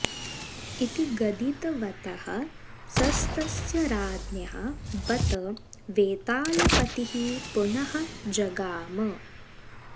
इति गदित वतः सस्तस्य राज्ञः बत वेतालपतिः पुनः जगाम